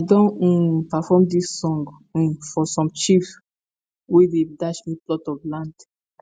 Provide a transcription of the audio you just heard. i don um perform dis song um for some chiefs wey dey dash me plot of land